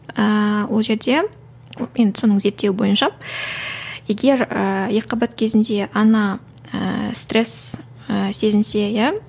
ііі ол жерде енді соның зертеуі бойынша егер ііі екіқабат кезінде ана ыыы стресс і сезінсе иә